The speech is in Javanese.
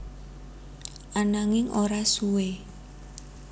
Ananging ora suwe